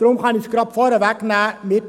Deshalb kann ich es gleich vorwegnehmen: